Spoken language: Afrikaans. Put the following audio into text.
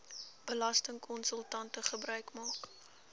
belastingkonsultante gebruik maak